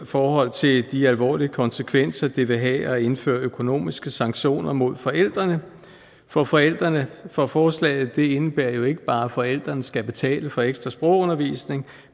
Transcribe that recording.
forhold til de alvorlige konsekvenser det vil have at indføre økonomiske sanktioner mod forældrene for forældrene for forslaget indebærer jo ikke bare at forældrene skal betale for ekstra sprogundervisning